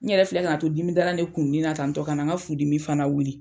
N yɛrɛ filɛ ka na to dimidalan de kununi na tantɔ ka na n ka furudimi fana wuli.